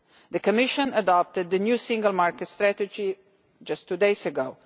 The Commission adopted the new Single Market Strategy just two days ago.